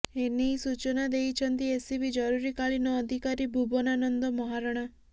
ଏ ନେଇ ସୂଚନା ଦେଇଛନ୍ତି ଏସସିବି ଜରୁରୀକାଳୀନ ଅଧିକାରୀ ଭୁବନାନନ୍ଦ ମହାରଣା